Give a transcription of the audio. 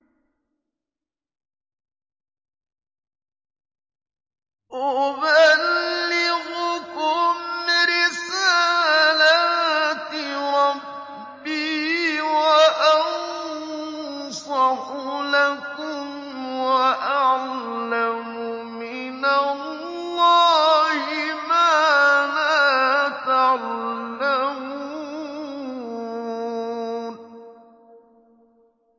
أُبَلِّغُكُمْ رِسَالَاتِ رَبِّي وَأَنصَحُ لَكُمْ وَأَعْلَمُ مِنَ اللَّهِ مَا لَا تَعْلَمُونَ